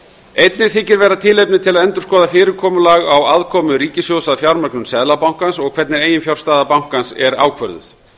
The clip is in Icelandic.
einnig þykir vera tilefni til að endurskoða fyrirkomulag á aðkomu ríkissjóðs að fjármögnun seðlabankans og hvernig eiginfjárstaða bankans er ákvörðuð